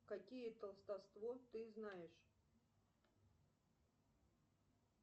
какие толстовство ты знаешь